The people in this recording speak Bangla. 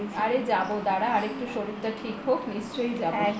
আরে যাবো দাঁড়া আর একটু শরীরটা ঠিক হোক নিশ্চই যাব